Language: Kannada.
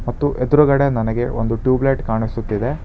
ತ್ತು ಎದುರುಗಡೆ ನನಗೆ ಒಂದು ಟ್ಯೂಬ್ಲೖಟ್ ಕಾಣಿಸುತ್ತಿದೆ.